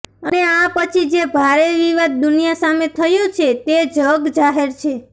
અને આ પછી જે ભારે વિવાદ દુનિયા સામે થયો છે તે જગજાહેર છે